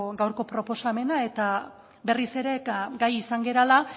gaurko proposamena eta berriz ere eta gai izan garela